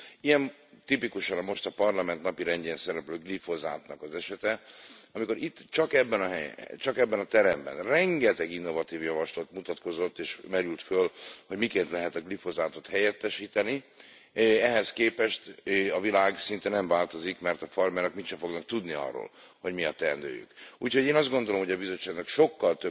Ilyen tipikusan most a Parlament napirendjén szereplő glifozátnak az esete, amikor itt, csak ebben a teremben rengeteg innovatív javaslat mutatkozott és merült fel, hogy miként lehet a glifozátot helyettesíteni, ehhez képest a világ szinte nem változik, mert a farmerek úgysem fognak tudni arról, hogy mi a teendőjük. Ezért én azt gondolom, hogy a Bizottságnak sokkal